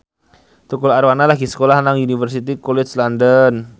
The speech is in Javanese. Tukul Arwana lagi sekolah nang Universitas College London